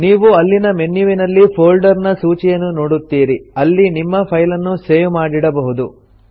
ನೀವು ಅಲ್ಲಿನ ಮೆನ್ಯುವಿನಲ್ಲಿ ಫೊಲ್ಡರ್ ನ ಸೂಚಿಯನ್ನು ನೋಡುತ್ತೀರಿ ಅಲ್ಲಿ ನಿಮ್ಮ ಫೈಲನ್ನು ಸೇವ್ ಮಾಡಿಡಬಹುದು